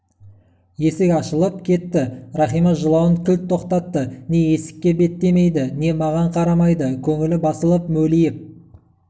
есік ашылып кетті рахима жылауын кілт тоқтатты не есікке беттемейді не маған қарамайды көңілі басылып мөлиіп